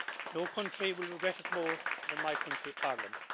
No country will regret it more than my country, Ireland.